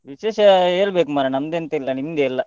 ವಿಶೇಷ ಹೇಳ್ಬೇಕು ಮರ್ರೆ, ನಂದೆಂತ ಇಲ್ಲ ನಿಮ್ದೇ ಎಲ್ಲ.